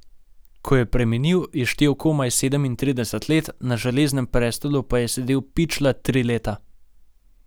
Ko je preminil, je štel komaj sedemintrideset let, na železnem prestolu pa je sedel pičla tri leta.